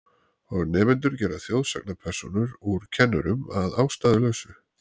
Og nemendur gera þjóðsagnapersónur úr kennurum að ástæðulausu.